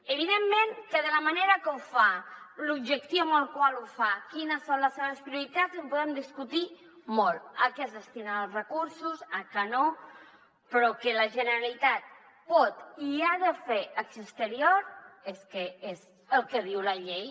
evidentment que de la manera que ho fa l’objectiu amb el qual ho fa quines són les seves prioritats en podem discutir molt a què es destinen els recursos a què no però que la generalitat pot i ha de fer acció exterior és el que diu la llei